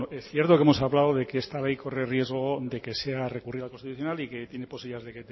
cierto que hemos hablado de que esta ley corre riesgo de que sea recurrida al constitucional y que tiene posibilidades de